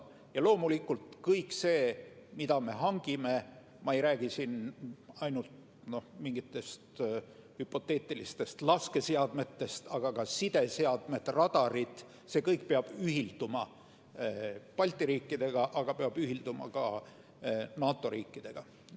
Ja loomulikult kõik see, mida me hangime – ma ei räägi siin ainult mingitest hüpoteetilistest laskeseadmetest, vaid ka sideseadmetest ja radaritest –, see kõik peab ühilduma Balti riikide ja teiste NATO riikide tehtavaga.